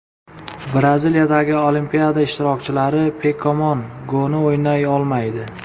Braziliyadagi Olimpiada ishtirokchilari Pokemon Go‘ni o‘ynay olmaydi.